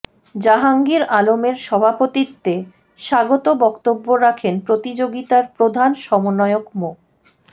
জাহাঙ্গীর আলমের সভাপতিত্বে স্বাগত বক্তব্য রাখেন প্রতিযোগিতার প্রধান সমন্বয়ক মো